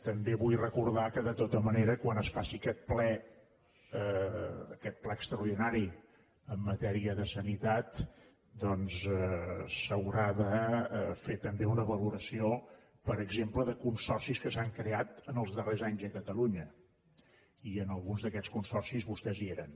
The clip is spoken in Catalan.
també vull recordar que de tota manera quan es faci aquest ple extraordinari en matèria de sanitat doncs s’haurà de fer també una valoració per exemple de consorcis que s’han creat en els darrers anys a catalunya i en alguns d’aquests consorcis vostès hi eren